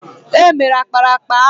È mere ákpáraàkpà ahụ